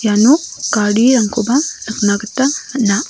iano garirangkoba nikna gita man·a.